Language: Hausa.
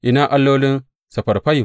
Ina allolin Sefarfayim?